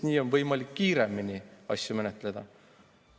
Nii on võimalik kiiremini asju menetleda.